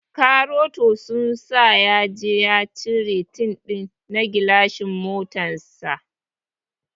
Karoto sun sa yaje ya cire tint na gilashin motar sa.